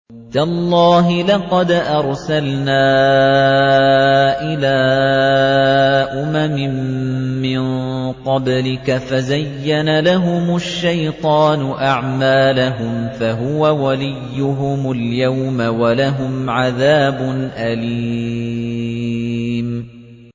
تَاللَّهِ لَقَدْ أَرْسَلْنَا إِلَىٰ أُمَمٍ مِّن قَبْلِكَ فَزَيَّنَ لَهُمُ الشَّيْطَانُ أَعْمَالَهُمْ فَهُوَ وَلِيُّهُمُ الْيَوْمَ وَلَهُمْ عَذَابٌ أَلِيمٌ